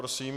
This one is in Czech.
Prosím.